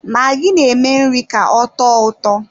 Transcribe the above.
Magi na-eme nri ka ọtọ ụtọ.